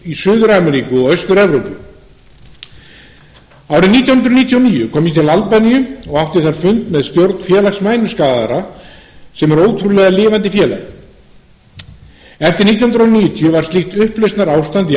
í suður ameríku og austur evrópu árið nítján hundruð níutíu og níu kom ég til albaníu og átti þar fund með stjórn félags mænuskaðaðra sem er ótrúlega lifandi félag eftir nítján hundruð níutíu var slíkt upplausnarástand í